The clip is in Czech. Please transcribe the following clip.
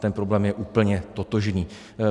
Ten problém je úplně totožný.